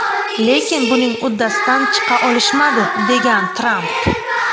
Lekin buning uddasidan chiqa olishmadi”, degan Tramp.